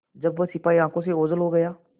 जब वह सिपाही आँखों से ओझल हो गया